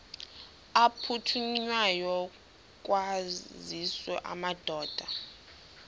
aphuthunywayo kwaziswe amadoda